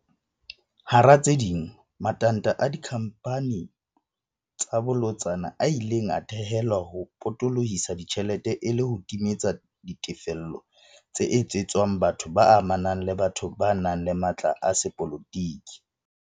Hara tse ding, matanta a dikhamphani tsa bolotsana a ile a thehelwa ho potolo hisa ditjhelete e le ho timeletsa ditefello tse etsetswang batho ba amanang le batho ba nang le matla a sepolotiki.